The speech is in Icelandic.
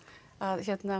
að